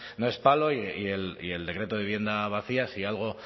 no es palo y el decreto de vivienda vacía si algo